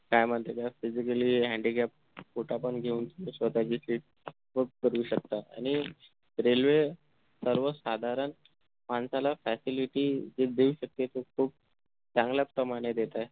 काय म्हणता त्याला physically handicap quota पण घेऊन स्वतःची seat book करू शकता आणि railway सर्वसाधारण माणसाला facility जे देऊ शकते ते खूप चांगल्या प्रमाणे देते